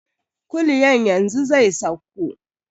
Kulyan yanzu zai sauko.